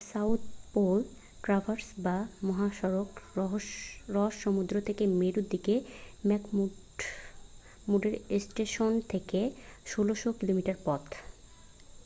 The South Pole Traverse বা মহাসড়ক Ross সমুদ্র থেকে মেরুর দিকে ম্যাকমুর্ডো স্টেশন থেকে ১৬০০ কিমি পথ।